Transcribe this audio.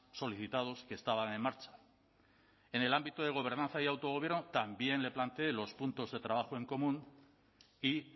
solicitados que estaban en marcha en el ámbito de gobernanza y autogobierno también le planteé los puntos de trabajo en común y